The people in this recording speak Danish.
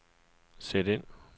sæt ind